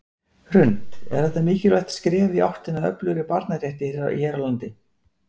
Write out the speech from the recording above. Hrund: Er þetta mikilvægt skref í áttina að öflugri barnarétti hér á landi?